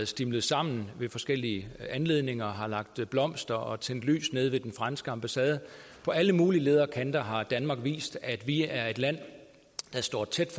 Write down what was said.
stimlet sammen ved forskellige anledninger har lagt blomster og tændt lyd ved den franske ambassade på alle mulige leder og kanter har danmark vist at vi er et land der står tæt